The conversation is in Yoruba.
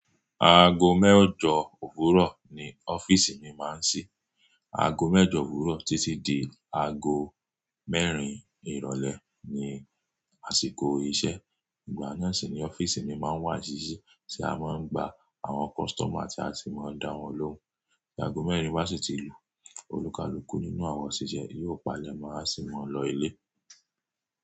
Aago mẹ́ẹ̀jọ òwúrọ̀ ni ọ́fíìsì mi máa ń ṣí. Aago mẹ́ẹ̀jọ òwúrọ̀ títí di aago mẹ́rin ìrọ̀lẹ́ ni àsìkò iṣẹ́. Ìgbà náà sì ni ọ́fíìsì mi máa ń wà sísí tí a máa ń gba àwọn customer tí a sì máa ń dá wọn lóhùn. Tí aago mẹ́rin bá sì ti lù, olùkálùkù nínú àwọn òṣìṣẹ́ yóò palẹ̀ mo aa sì mo lọ ilé.